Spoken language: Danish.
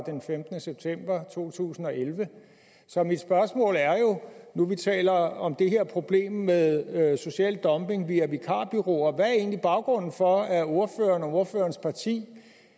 den femtende september to tusind og elleve så mit spørgsmål er jo nu vi taler om det her problem med med social dumping via vikarbureauer hvad er egentlig baggrunden for at ordføreren og ordførerens parti